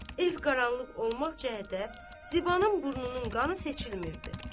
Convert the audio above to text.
Ev qaranlıq olmaq cəhətdə Zibanın burnunun qanı seçilmirdi.